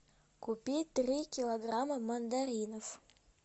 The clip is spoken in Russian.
купи три килограмма мандаринов